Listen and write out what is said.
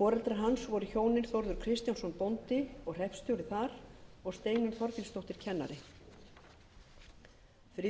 foreldrar hans voru hjónin þórður kristjánsson bóndi og hreppstjóri þar og steinunn þorgilsdóttir kennari friðjón